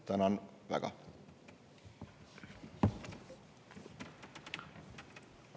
Tänan väga!